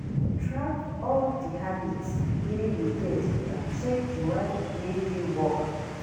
Track all di habits wey you get and check di one wey dey work